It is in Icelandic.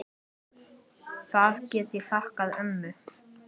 Það get ég þakkað ömmu.